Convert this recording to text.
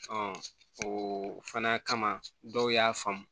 o fana kama dɔw y'a faamu